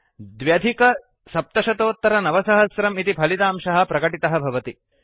9702 इति फलितांशः प्रकटितः भवति